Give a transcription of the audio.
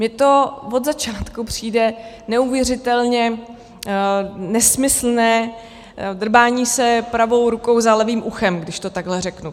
Mně to od začátku přijde neuvěřitelně nesmyslné drbání se pravou rukou za levým uchem, když to takhle řeknu.